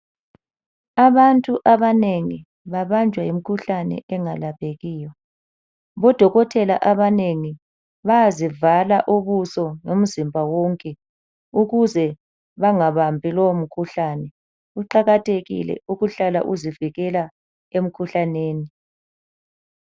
Abantu abanengi babanjwa yimikhuhlane engalaphekiyo. Odokotela abanengi bayazivala ubuso lomzimba wonke ukuze bangabambi lowumkhuhlane kuqakathekile ukuhlala uzivikela emkhuhlaneni.